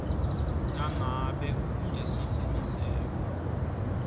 nangabe ute siciniseko